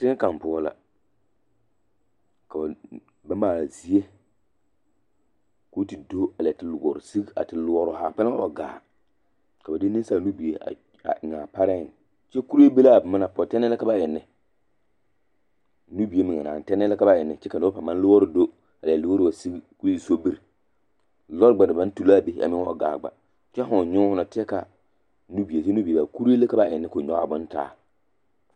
Teŋɛ kaŋ poɔ la ka ba maale zie koo te do a leɛ te loɔre sigi a te loɔroo haa kpɛlɛm wa gaa ka ba de neŋsaala nubie a eŋaa pareŋ kyɛ kuree be laa boma na poɔ tɛnɛɛ ka eŋ ne nubie meŋe naane tɛnɛɛ ka ba eŋ ne kyɛ ka nobɔ paŋ maŋ loɔre do a leɛ loɔre wa sigi koo e sobiri lɔɔre gba na baŋ tu laa be a meŋ wa gaa kyɛ fooŋ nyoo fo na teɛ ka nubie la ka ba eŋ kyɛ kuree la ka ba eŋ ne koo nyɔgaa bon taa.